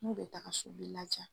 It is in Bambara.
N'u bɛ taga so o b'i lajaa.